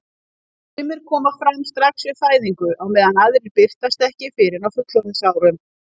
Sumir koma fram strax við fæðingu á meðan aðrir birtast ekki fyrr en á fullorðinsárum.